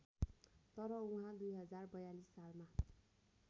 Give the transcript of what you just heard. तर उहाँ २०४२ सालमा